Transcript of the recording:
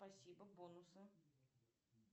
спасибо бонусы